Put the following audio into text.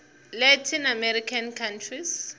latin american countries